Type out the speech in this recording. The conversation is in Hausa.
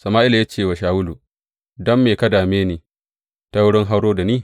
Sama’ila ya ce wa Shawulu, Don me ka dame ni, ta wurin hauro da ni?